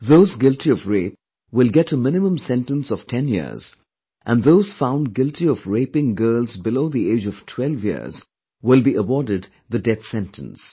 Those guilty of rape will get a minimum sentence of ten years and those found guilty of raping girls below the age of 12 years will be awarded the death sentence